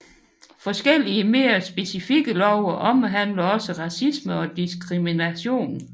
Forskellige mere specifikke love omhandler også racisme og diskrimination